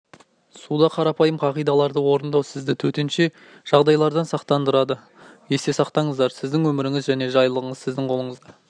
суда қарапайым қағидаларды орындау сізді төтенше жағдайлардан сақтандырады есте сақтаныздар сіздің өміріңіз және жайлылығыңыз сіздің қолыңызда